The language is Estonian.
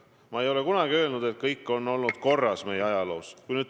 Ma ei ole kunagi öelnud, et kõik on olnud meie ajaloos korras.